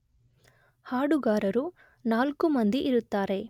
ಹಾಡುಗಾರರು ನಾಲ್ಕು ಮಂದಿ ಇರುತ್ತಾರೆ